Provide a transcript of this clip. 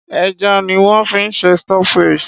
Ẹja ni wón fi ń ṣe stock fish.